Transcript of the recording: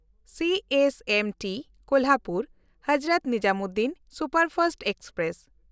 CSMT ᱠᱳᱞᱦᱟᱯᱩᱨ–ᱦᱚᱡᱨᱚᱛ Nizamuddin superfast express